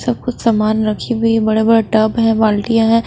सब कुछ सामान रखी हुई है बड़े-बड़े टब है बाल्टियां हैं।